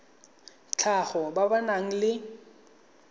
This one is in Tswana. tlhago ba ba nang le